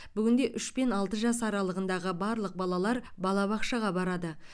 бүгінде үш пен алты жас аралығындағы барлық балалар балабақшаға барады